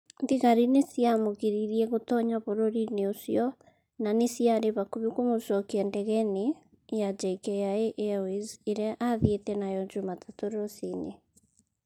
thigari nĩ ciamũgiririe gũtoonya bũrũri-inĩ ũcio na nĩ ciarĩ hakuhĩ kũmũcokia ndege-inĩ ya JKIA Airways ĩrĩa aathiĩte nayo Jumatatu rũcinĩ".